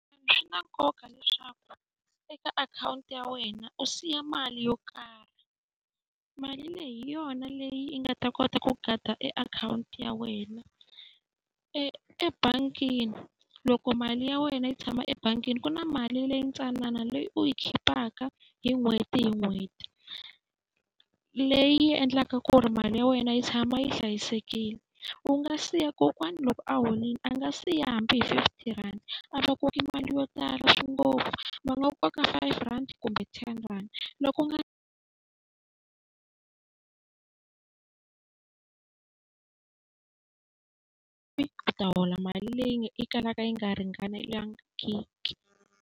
Swi na nkoka leswaku eka akhawunti ya wena u siya mali yo karhi, mali leyi hi yona leyi nga ta kota ku guard-a e akhawunti ya wena. Ebangini loko mali ya wena yi tshama ebangini ku na mali leyi ntsanana leyi u yi khipaka hi n'hweti hi n'hweti, leyi endlaka ku ri mali ya wena yi tshama yi hlayisekile. U nga siya kokwana loko a horile a nga siya hambi hi fifty rhandi, a va koki mali yo tala ngopfu. Va nga koka five rand kumbe ten rhandi. Loko u nga u ta hola mali leyi yi kalaka yi nga ringanelangiki.